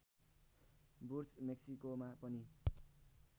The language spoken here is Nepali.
वुड्स मेक्सिकोमा पनि